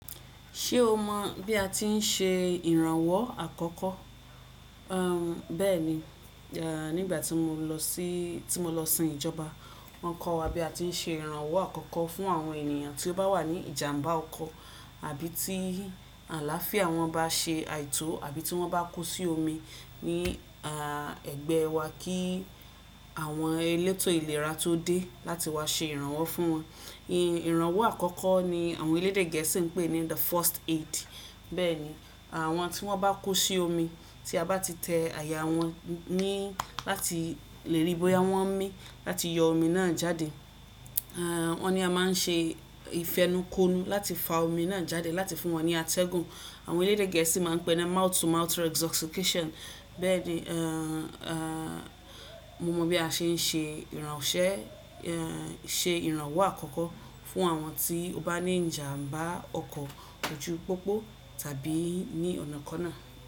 Ṣé o mọ̀ bí a ti n ṣe ìrànwọ́ àkọ́kọ́? Um, bẹ́ẹ̀ni, à, nígbà tí mo lọ síí, tí mo lọ sin ìjọba, wọ́n kọ́ wa bí a ti ń ṣe ìrànwọ́ àkọ́kọ́ fún àwọn ènìyàn tí ó bá wà ní ìjàmbá ọkọ̀ àbí tí àláfíà wọn bá ṣe àìtó àbí tí wọ́n bá kú sí omi ní, a, ẹgbẹ́ wa kí àwọn elétò ìlera tó dé láti wá ṣe ìrànwọ́ fún wọn. Ìrànwọ́ àkọ́kọ́ ni àwọn elédè gẹ̀ẹ́sì ń pè ní the first aid. Bẹ́ẹ̀ni, àwọn tí wọ́n bá kú sí omi tí a bá ti tẹ àyà wọ́n ní láti lè rí bóyá wọ́n ń mí láti yọ omi náà jáde, à, wọ́n ní a máa ń ṣe ìfẹnukonu láti fa omi náà jáde láti fún wọn ní atẹ́gùn. Àwọn elédè gẹ̀ẹ́sì máa ń pè ẹ́ ní mouth to mouth resuscitation. Bẹ́ẹ̀ni, à, à, mo mọ bí a ṣe ń ṣe ìrànwọ́ ṣẹ́, ẹ, ṣe ìrànwọ́ àkọ́kọ́ fún àwọn tí ó bá ní ìjàmbá ọkọ̀ ojú pópó tàbí ní ọ̀nà kọ́ náà.